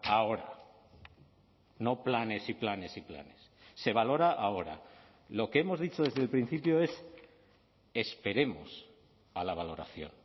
ahora no planes y planes y planes se valora ahora lo que hemos dicho desde el principio es esperemos a la valoración